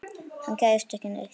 Hann gægðist ekki neitt.